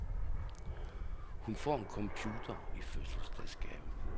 Hun får en computer i fødselsdagsgave.